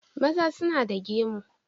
Maza suna da gemu.